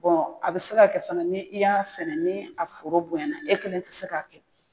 a bɛ se k'a kɛ fana ni i y'a sɛnɛ ni a foro bonya na, e kɛlen tɛ se k'a kɛ